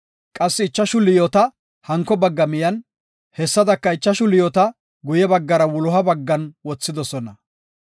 qassi ichashu liyoota hanko bagga miyen, hessadaka ichashu liyoota guye baggara wuloha baggan wothidosona.